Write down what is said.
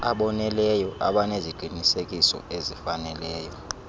aboneleyo abaneziqinisekiso ezifaneleyo